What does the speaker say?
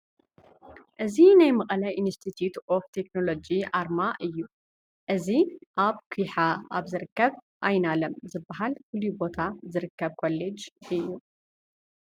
እዚ ናይ መቐለ ኢንስቲትዩት ኦፍ ቴክኖሎጂ ኣርማ እዩ፡፡ እዚ ኣብ ኲሓ ኣብ ዝርከብ ኣይናለም ዝበሃል ፍሉይ ቦታ ዝርከብ ኮሌጅ እዩ፡፡